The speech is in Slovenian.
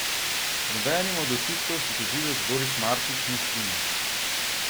Z nobenim od očitkov se tožilec Boris Marčič ni strinjal.